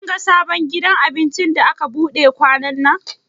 Kin ga sabon gidan abincin da aka buɗe kwanannan?